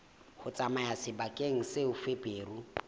ho tsamaya sebakeng seo feberu